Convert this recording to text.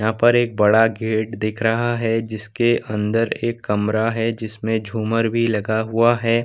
यहाँ पर एक बड़ा गेट दिख रहा है जिसके अंदर एक कमरा है जिसमे झूमर भी लगा हुआ है।